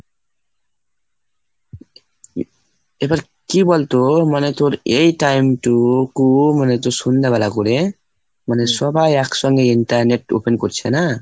এবার কি বলতো মানে তোর এই time টুকু মানে তোর সন্ধ্যেবেলা করে, মানে সবাই একসঙ্গে internet open করছে না?